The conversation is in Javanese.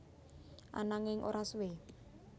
Ananging ora suwe